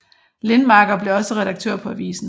Lindmarker blev også redaktør på avisen